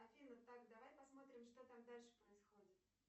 афина так давай посмотрим что там дальше происходит